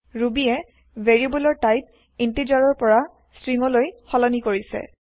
ৰুবীয়ে ভেৰিয়েব্লৰ type integer ৰ পৰা ষ্ট্ৰীংলৈ সলনি কৰিছে